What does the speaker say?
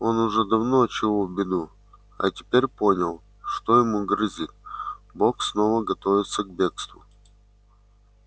он уже давно чуял беду а теперь понял что ему грозит бог снова готовится к бегству